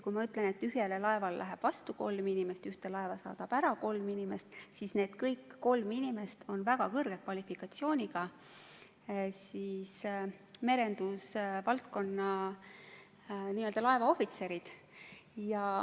Tühjale laevale läheb vastu kolm inimest ja ühte laeva saadab ära kolm inimest ning kõik need kolm inimest on väga kõrge kvalifikatsiooniga, merendusvaldkonna laevaohvitserid.